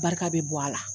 Barika bɛ bɔ a la